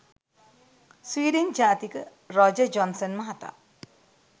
Sweden ජාතික Roger Johnson මහතා